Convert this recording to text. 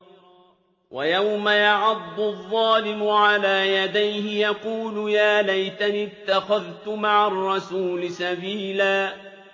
وَيَوْمَ يَعَضُّ الظَّالِمُ عَلَىٰ يَدَيْهِ يَقُولُ يَا لَيْتَنِي اتَّخَذْتُ مَعَ الرَّسُولِ سَبِيلًا